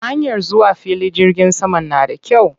Hanyar zuwa filin jirgin saman na da kyau.